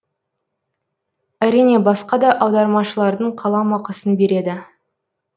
әрине басқа да аудармашылардың қаламақысын береді